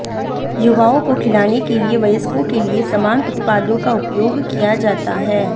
युवाओं को खिलाने के लिए वयस्कों के लिए समान उत्पादों का उपयोग किया जाता है